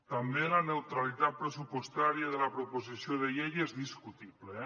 també la neutralitat pressupostària de la proposició de llei és discutible